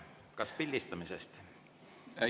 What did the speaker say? Kas pildistamisest?